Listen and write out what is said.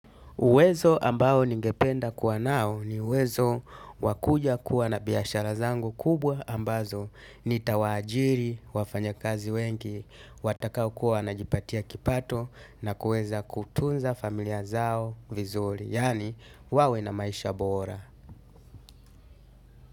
Uwezo ambao ningependa kuwa nao ni uwezo wa kuja kuwa na biashara zangu kubwa ambazo nitawaajiri, wafanyakazi wengi, watakao kuwa wanajipatia kipato na kuweza kutunza familia zao vizuri, yaani wawe na maisha bora.